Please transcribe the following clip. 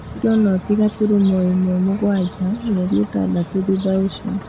kiro noti gaturumo ĩmwe, mũgwanja mĩeri ĩtandatũ thutha ũcio